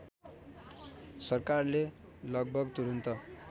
सरकारले लगभग तुरन्त